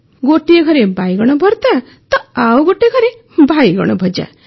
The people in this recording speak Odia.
ଗୋଟିଏ ଘରେ ବାଇଗଣ ଭର୍ତା ତ ଆଉ ଗୋଟିଏ ଘରେ ବାଇଗଣ ଭଜା